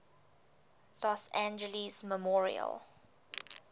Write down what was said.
los angeles memorial